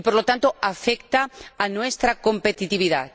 Y, por lo tanto, afecta a nuestra competitividad.